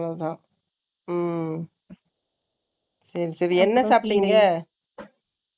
அவ்வளவுதான். ம். சரி, சரி. என்ன சாப்டிங்க